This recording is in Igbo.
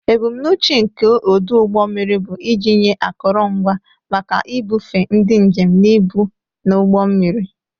Ebumnuche nke ọdụ ụgbọ mmiri bụ iji nye akụrụngwa maka ibufe ndị njem na ibu na ụgbọ mmiri.